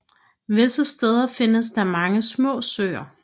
Visse steder findes der mange små søer